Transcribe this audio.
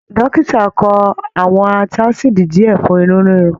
Dókítà kọ àwọn antasidi diẹ fún inú rirun.